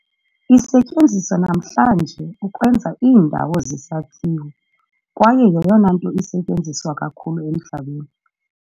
Isetyenziswa namhlanje ukwenza iindawo zesakhiwo kwaye yeyona nto isetyenziswa kakhulu emhlabeni.